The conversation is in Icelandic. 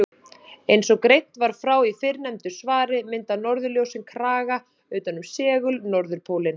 Eins og greint var frá í fyrrnefndu svari mynda norðurljósin kraga utan um segul-norðurpólinn.